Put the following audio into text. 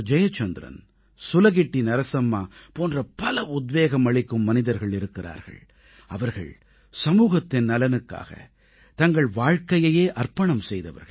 ஜெயச்சந்திரன் சுலகிட்டி நரசம்மா போன்ற பல உத்வேகம் அளிக்கும் மனிதர்கள் இருக்கிறார்கள் அவர்கள் சமூகத்தின் நலனுக்காக தங்கள் வாழ்க்கையையே அர்ப்பணம் செய்தவர்கள்